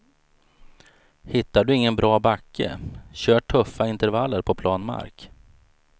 Hittar du ingen bra backe, kör tuffa intervaller på plan mark.